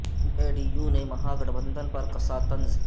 جے D U نے mahagathbandhan پر کسا طنز